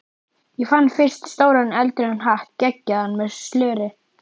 Ég fann fyrst stóran eldrauðan hatt geggjaðan, með slöri.